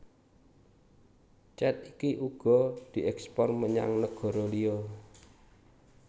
Cet iki uga dièkspor menyang negara liya